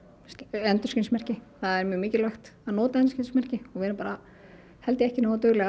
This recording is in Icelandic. endurskinsmerki það er mjög mikilvægt að nota endurskinsmerki og við erum bara ekki nógu dugleg